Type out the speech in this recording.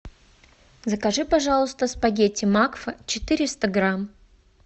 закажи пожалуйста спагетти макфа четыреста грамм